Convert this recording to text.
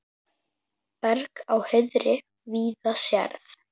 Berg á hauðri víða sérð.